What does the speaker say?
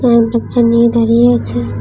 উম বাচ্চা নিয়ে দাঁড়িয়ে আছে।